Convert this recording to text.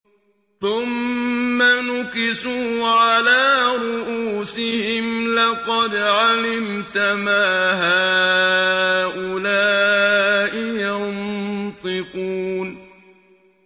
ثُمَّ نُكِسُوا عَلَىٰ رُءُوسِهِمْ لَقَدْ عَلِمْتَ مَا هَٰؤُلَاءِ يَنطِقُونَ